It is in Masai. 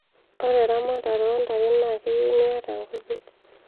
ore eramatare ontare naa keyieu niata inkujit